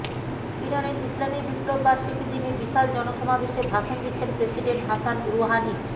ইরানের ইসলামি বিপ্লব বার্ষিকীর দিনে বিশাল জনসমাবেশে ভাষণ দিচ্ছেন প্রেসিডেন্ট হাসান রুহানি